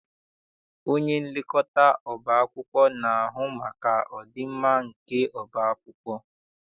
Onyenlekọta ọba akwụkwọ na-ahụ maka ọdịmma nke ọba akwụkwọ.